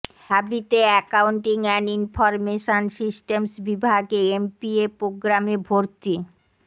ঢাবিতে accounting and information systems বিভাগে MPA প্রোগ্রামে ভর্তি